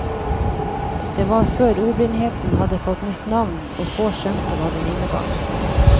Det var før ordblindheten hadde fått nytt navn, og få skjønte hva den innebar.